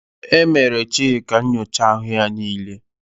E mere Chika nyocha ahụ ya niile.